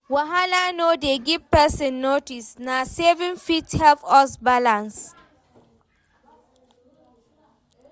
Wahala no dey give pesin notice, na savings fit help us balance.